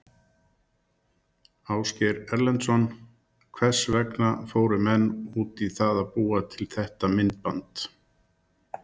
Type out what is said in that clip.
Ásgeir Erlendsson: Hvers vegna fóru menn út í það að búa til þetta myndband?